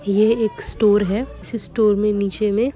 इये एक स्टोर हे इसी स्टोर मे नीचे मे--